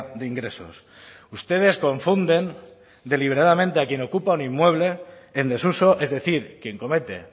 de ingresos ustedes confunden deliberadamente a quien ocupa un inmueble en desuso es decir quien comete